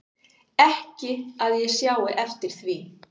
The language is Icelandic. Ekki að ég sjái eftir því